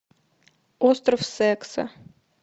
остров секса